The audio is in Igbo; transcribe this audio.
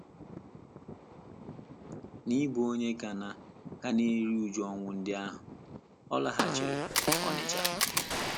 N’ịbụ onye ka na - ka na - eru újú ọnwụ ndị ahụ, ọ laghachiri Onitsha.